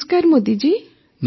ନମସ୍କାର ମୋଦି ଜୀ